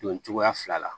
Don cogoya fila la